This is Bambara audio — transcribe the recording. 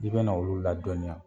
I be na olu ladɔniya